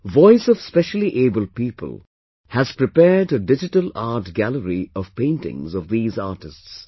Voice of Specially Abled People has prepared a digital art gallery of paintings of these artists